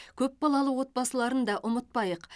көпбалалы отбасыларын да ұмытпайық